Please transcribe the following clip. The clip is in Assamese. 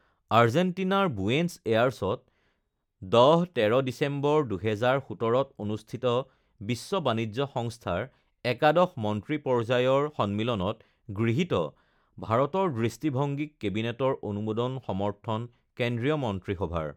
আৰ্জেণ্টিনাৰ বুয়েনছ এয়াৰছত ১০ ১৩ ডিচেম্বৰ, ২০১৭ত অনুষ্ঠিত বিশ্ব বাণিজ্য সংস্থাৰ একাদশ মন্ত্ৰী পৰ্যায়ৰ সন্মিলনত গৃহীত ভাৰতৰ দৃষ্টিভংগীক কেবিনেটৰ অনুমোদন সমৰ্থন কেন্দ্ৰীয় মন্ত্ৰিসভাৰ